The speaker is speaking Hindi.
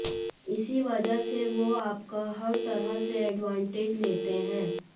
इसी वजह से वो आपका हर तरह से एडवांटेज लेते हैं